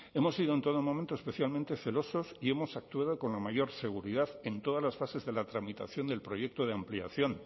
hemos sido en todo momento especialmente celosos y hemos actuado con la mayor seguridad en todas las fases de la tramitación del proyecto de ampliación